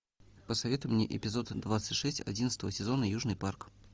посоветуй мне эпизод двадцать шесть одиннадцатого сезона южный парк